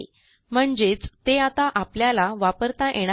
म्हणजेच ते आता आपल्याला वापरता येणार नाही